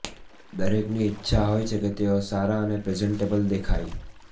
દરેકની ઈચ્છા હોય છે કે તેઓ સારાં અને પ્રેઝન્ટેબલ દેખાય